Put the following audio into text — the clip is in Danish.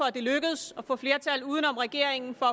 at det lykkedes at få flertal uden om regeringen for